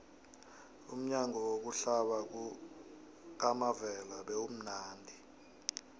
umnyanya wokuhlaba kukamavela bewumnadi